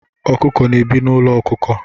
Ọkụkọ na-ebi n'ụlọ ọkụkọ